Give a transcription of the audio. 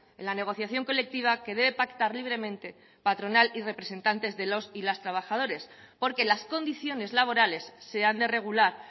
en la negociación colectiva que debe pactar libremente patronal y representantes de los y las trabajadores porque las condiciones laborales se han de regular